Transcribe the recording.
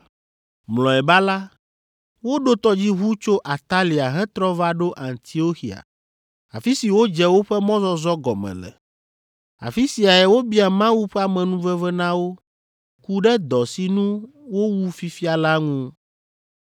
Mlɔeba la, woɖo tɔdziʋu tso Atalia hetrɔ va ɖo Antioxia, afi si wodze woƒe mɔzɔzɔ gɔme le. Afi siae wobia Mawu ƒe amenuveve na wo, ku ɖe dɔ si nu wowu fifia la ŋu.